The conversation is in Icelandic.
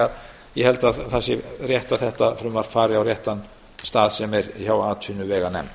að ég held að það sé rétt að þetta frumvarp fari á réttan stað sem er hjá atvinnuveganefnd